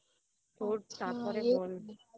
তোর চাপ তারপরে বল